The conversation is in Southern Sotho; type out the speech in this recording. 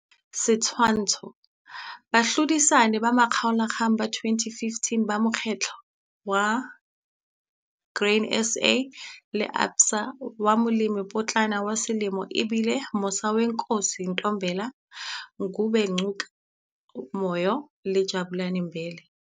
Setshwantsho 1. Bahlodisani ba makgaolakgang ba 2015 ba mokgahlelo wa Grain SA, ABSA wa Molemipotlana wa Selemo e bile- Musawenkosi Ntombela, Ngubengcuka Moyo le Jabulani Mbele.